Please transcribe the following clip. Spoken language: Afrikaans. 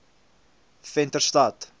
venterstad